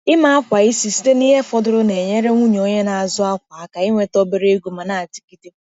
Ịme akwa isi site na ihe fọdụrụ na-enyere nwunye onye na-azụ akwa aka inweta obere ego ma na-adịgide.